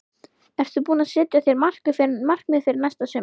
Ertu búinn að setja þér markmið fyrir næsta sumar?